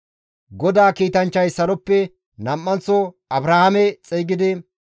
GODAA kiitanchchay saloppe nam7anththo Abrahaame xeygidi,